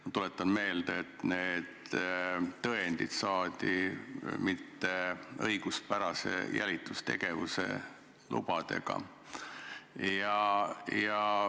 Ma tuletan meelde, et need tõendid saadi mitteõiguspärase jälitustegevuse lubadega.